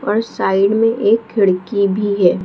और साइड में एक खिड़की भी है ।